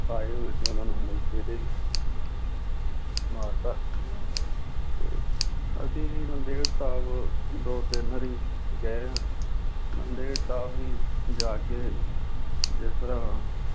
ਆਏ ਹੋਏ ਸੀ ਉਹਨਾਂ ਨੂੰ ਮੌਕੇ ਤੇ ਮਾਰ ਦਿੱਤਾ ਤੇ ਅਸੀਂ ਵੀ ਨੰਦੇੜ ਸਾਹਿਬ ਦੋ ਤਿੰਨ ਵਾਰੀ ਗਏ ਹਾਂ ਨੰਦੇੜ ਸਾਹਿਬ ਵੀ ਜਾ ਕੇ ਜਿਸ ਤਰ੍ਹਾਂ